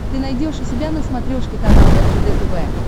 ты найдешь у себя на смотрешке канал ржд тв